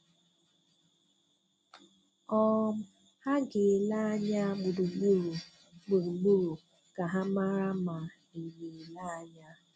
um Ha ga-ele anya gburugburu gburugburu ka ha mara ma ị na-ele anya.